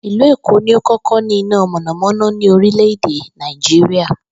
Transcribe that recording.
Ìlú Èkó ni ó kó̩kó̩ ní iná mò̩nàmó̩ná ní orilè̩ Nàìjíríà